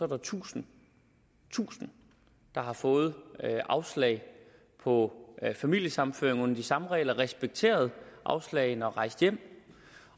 der tusind tusind der har fået afslag på familiesammenføring under de samme regler har respekteret afslaget og er rejst hjem